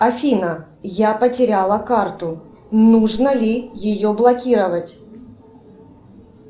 афина я потеряла карту нужно ли ее блокировать